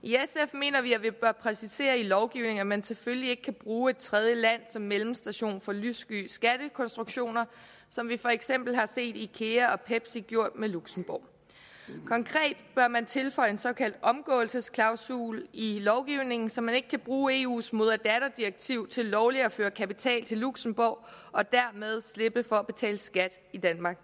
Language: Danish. mener vi at vi bør præcisere i lovgivningen at man selvfølgelig ikke kan bruge et tredjeland som mellemstation for lyssky skattekonstruktioner som vi for eksempel har set at ikea og pepsi har gjort med luxembourg konkret bør man tilføje en såkaldt omgåelsesklausul i lovgivningen så man ikke kan bruge eus moder datter direktiv til lovligt at føre kapital til luxembourg og dermed slippe for at betale skat i danmark